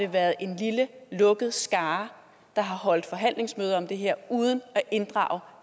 været en lille lukket skare der har holdt forhandlingsmøde om det her uden at inddrage